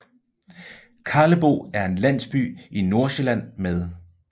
Karlebo er en landsby i Nordsjælland med